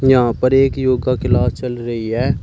यहां पर एक योगा क्लास चल रही है।